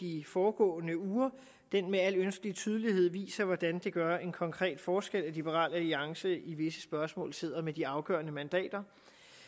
i de foregående uger med al ønskelig tydelighed viser hvordan det gør en konkret forskel at liberal alliance i visse spørgsmål sidder med de afgørende mandater